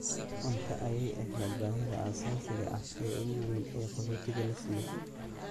Cunto ayaay ahayd baahida aasaasiga ah ee ugu weyn ee qaxootiga la siiyo.